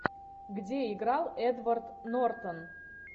где играл эдвард нортон